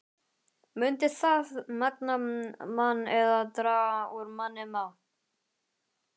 Mundi það magna mann eða draga úr manni mátt?